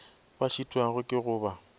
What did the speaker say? ba šitwago ke go ba